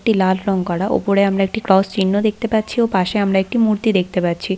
একটি লাল রং করা ওপরে আমরা একটি ক্রস চিহ্ন দেখতে পাচ্ছি ও পাশে আমরা একটাই মূর্তি দেখতে পাচ্ছি।